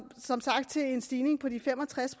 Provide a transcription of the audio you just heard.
som sagt til en stigning på de fem og tres